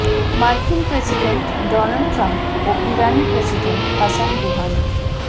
মার্কিন president Donald Trump ও ইরানি প্রেসিডেন্ট হাসান রুহানি